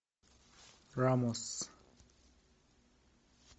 рамос